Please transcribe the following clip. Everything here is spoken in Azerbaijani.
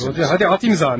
Rodiya, gəl at imzanı!